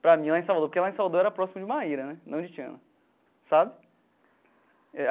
para mim, lá em Salvador, porque lá em Salvador era próximo de Maíra né, não de Tiana, sabe? Eh.